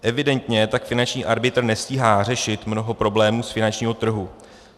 Evidentně tak finanční arbitr nestíhá řešit mnoho problémů z finančního trhu.